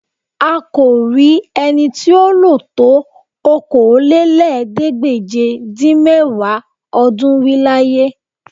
À kò rí ẹni tí ó lò tó Okòólélẹ́ẹ̀ẹ́dégbèje-dín-mẹ́wàá ọdún rí láyé